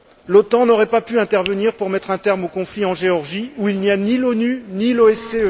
L'OTAN n'aurait pas pu intervenir pour mettre un terme au conflit en Géorgie, où il n'y a ni l'ONU, ni l'OSCE.